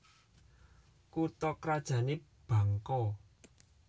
Kutha krajané Bangko